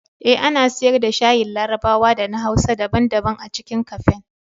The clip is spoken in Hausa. Eh, ana siyar da shayin larabawa da na hausa daban-daban a cikin kafen.